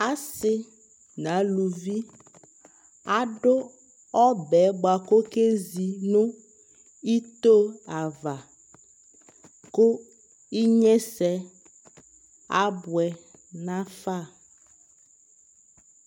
Asɩ n'aluvi adʋ ɔbɛɛ bʋa k'okezi nʋ ito ava ; kʋ , inyesɛ abʋɛ nafa